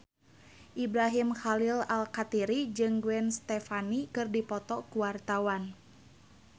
Ibrahim Khalil Alkatiri jeung Gwen Stefani keur dipoto ku wartawan